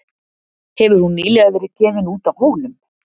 Hefur hún nýlega verið gefin út á Hólum.